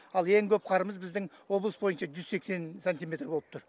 ал ең көп қарымыз біздің облыс бойынша жүз сексен сантиметр болып тұр